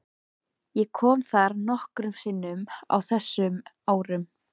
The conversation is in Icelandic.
Ég kom þar nokkrum sinnum á þessum árum.